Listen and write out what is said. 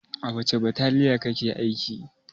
A wace bataliya kake aiki?